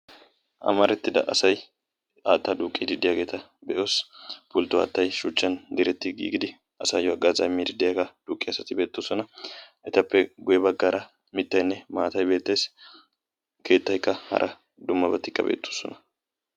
amaritida asay haataa duuqiidi diyage beetees, issi pultoy asaayo hagazaa duqiyaga beetees, etappe guye bagaara mitaykka hara dummabati beetosona.